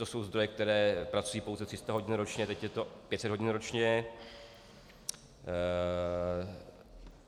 To jsou zdroje, které pracují pouze 300 hodin ročně, teď je to 500 hodin ročně.